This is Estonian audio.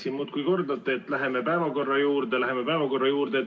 Te muudkui kordate siin ennast, et läheme päevakorra juurde, läheme päevakorra juurde.